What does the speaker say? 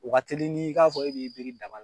O ka teli n'i k'a fɔ e b'i biri daba